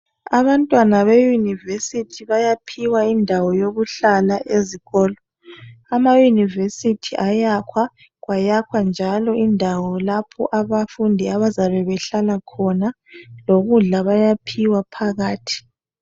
Abantwana be "University" bayaphiwa indawo yokuhlala ezikolo, ama "University" ayakhwa kwayakhwa njalo indawo lapho abafundi abazabe behlala khona lokudla bayaphiwa phakathi.